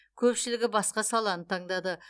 көпшілігі басқа саланы таңдады